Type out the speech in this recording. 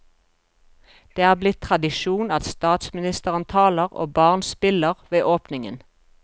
Det er blitt tradisjon at statsministeren taler og barn spiller ved åpningen.